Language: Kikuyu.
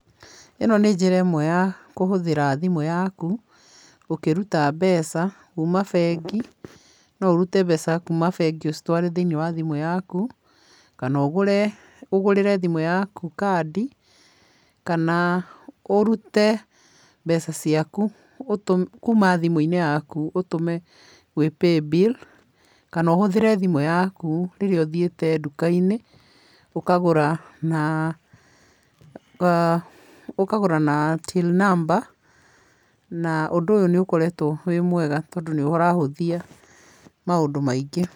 Ĩno nĩ njĩra ĩmwe ya kũhũthĩra thimũ yaku, ũkĩruta mbeca kuuma bengi. No ũrute mbeca kuuma bengi ũcitware thĩinĩ wa thimũ yaku, kana ũgũre ũgũrĩre thimũ yaku kandi, kana ũrute mbeca ciaku kuuma thimũ-inĩ yaku ũtũme gwĩ paybill, kana ũhũthĩre thimũ yaku rĩrĩa ũthiĩte ndukainĩ ũkagũra na ũkagũra na till number na ũndũ ũyũ nĩ ũkoretwo wĩ mwega tondũ nĩ ũrahũthia maũndũ maingĩ.